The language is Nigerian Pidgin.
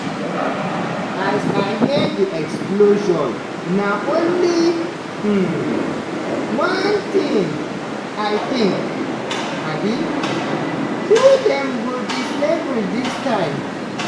"as i hear di explosion na only um one tin i think um – who dem go disable dis time?